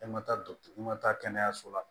E ma taa i ma taa kɛnɛyaso la